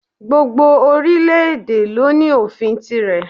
Gbogbo orílẹ̀ èdè lo ní òfin tirẹ̀